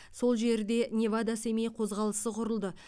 сол жерде невада семей қозғалысы құрылды